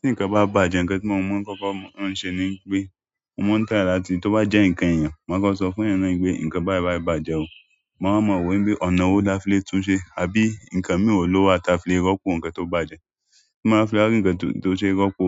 Tí nǹkan bá bàjẹ́, ǹkan tí mo maa n kọ́kọ́ maa ń ṣe ni wipé mo maa try láti tó bá jẹ́ ǹkan èèyàn, máa kọ sọ fún èèyàn náà wípé ǹkan báyìí báyìí bàjẹ́ o máa wa mo wípé ọ̀nà wo la fi lè tún un ṣe àbí ǹkan mìí ló wà tí a fi lè rọ́pò ǹkan tó bàjẹ́. Tí mo bá fi wa rí ǹkan tó ṣe rọ́pò